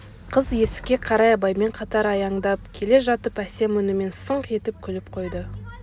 қыз есікке қарай абаймен қатар аяңдап келе жатып әсем үнімен сыңқ етіп күліп қойды